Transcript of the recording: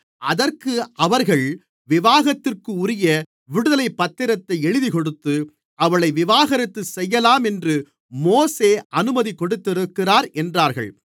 அதற்கு அவர்கள் விவாகரத்திற்குரிய விடுதலைப்பத்திரத்தை எழுதிக்கொடுத்து அவளை விவாகரத்து செய்யலாம் என்று மோசே அனுமதி கொடுத்திருக்கிறார் என்றார்கள்